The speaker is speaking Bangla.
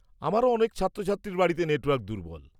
-আমারও অনেক ছাত্রছাত্রীর বাড়িতে নেটওয়ার্ক দুর্বল।